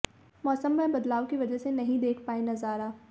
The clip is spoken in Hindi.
मौसम में बदलाव की वजह से नहीं देख पाए नजारा